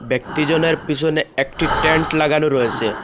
একটি জনের পিসনে একটি ট্যান্ট লাগানো রয়েসে।